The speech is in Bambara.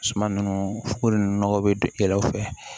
Suman nunnu fo ko nunnu nɔgɔ be don e la u fɛ